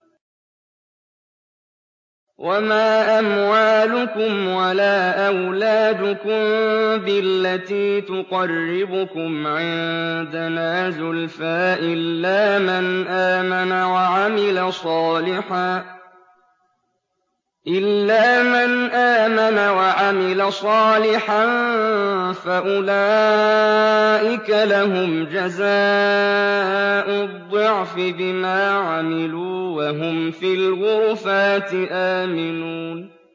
وَمَا أَمْوَالُكُمْ وَلَا أَوْلَادُكُم بِالَّتِي تُقَرِّبُكُمْ عِندَنَا زُلْفَىٰ إِلَّا مَنْ آمَنَ وَعَمِلَ صَالِحًا فَأُولَٰئِكَ لَهُمْ جَزَاءُ الضِّعْفِ بِمَا عَمِلُوا وَهُمْ فِي الْغُرُفَاتِ آمِنُونَ